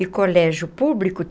E colégio público?